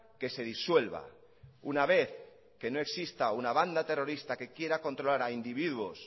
que se disuelva una vez que no exista una banda terrorista que quiera controlar a individuos